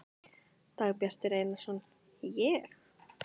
Dagbjartur Einarsson: Ég?